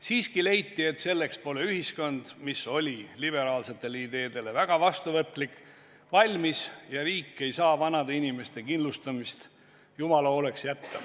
Siiski leiti, et selleks pole ühiskond, mis oli liberaalsetele ideedele väga vastuvõtlik, valmis ja riik ei saa vanade inimeste kindlustamist jumala hooleks jätta.